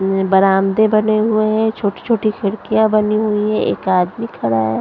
उम्म बरामदे बने हुए हैं छोटी छोटी खिड़कियाँ बनी हुई हैं एक आदमी खड़ा है।